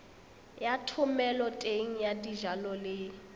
ya thomeloteng ya dijalo le